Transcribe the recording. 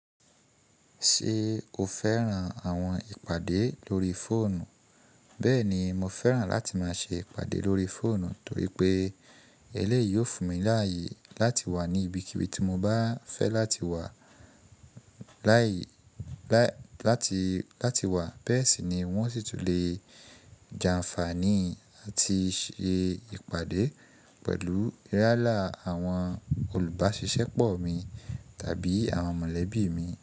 Ṣé o fẹ́ran àwọn ìpàdé lórí fóònù? Bẹ́ẹ̀ni, mo fẹ́ran láti máa ṣe ìpàdé lórí fóònù torí pé eléyìí yóò fún mi láàyè láti wà ní ibikíbi tí mo bá fẹ́ láti wà láàyè láti, láti wà. Bẹ́ẹ̀ sì ni wọn sì tún lè jàǹfàní àti ṣe ìpàdé pẹ̀lú yálà àwọn olùbáṣiṣẹ́ pọ̀ mi tàbí àwọn mọ̀lẹ́bí mi.